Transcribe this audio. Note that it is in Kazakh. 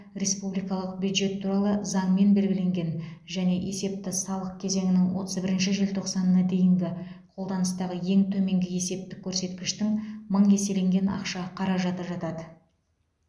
республикалық бюджет туралы заңмен белгіленген және есепті салық кезеңінің отыз бірінші желтоқсанына дейінгі қолданыстағы ең төменгі есептік көрсеткіштің мың еселенген ақша қаражаты жатады